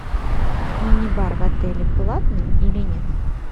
минибар в отеле платный или нет